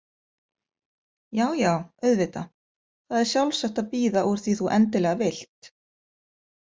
Já, já auðvitað, það er sjálfsagt að bíða úr því þú endilega vilt.